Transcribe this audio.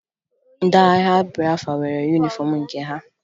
Ndị agha Bịafra nwere yunifọmụ nke ha